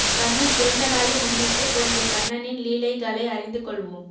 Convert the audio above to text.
கண்ணன் பிறந்த நாளை முன்னிட்டு குழந்தை கண்ணனின் லீலைகளை அறிந்து கொள்வோம்